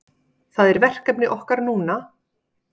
Það er verkefni okkar núna